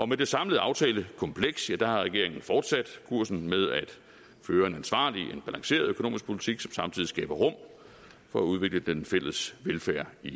med det samlede aftalekompleks har regeringen jo fortsat kursen med at føre en ansvarlig og balanceret økonomisk politik som samtidig skaber rum for at udvikle den fælles velfærd i